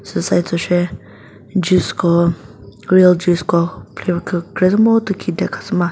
tsü side cho she juice ko real juice ko flavor kükre zü mütü khi de khasü ma.